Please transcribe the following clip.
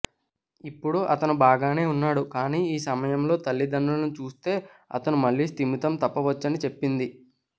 ఇప్పుడు అతను బాగానే ఉన్నాడు కానీ ఈ సమయంలో తల్లిదండ్రులను చూస్తే అతను మళ్ళీ స్థిమితం తప్పవచ్చని చెప్పింది